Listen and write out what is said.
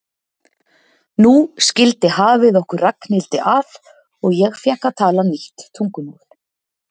Nú skildi hafið okkur Ragnhildi að og ég fékk að tala nýtt tungumál.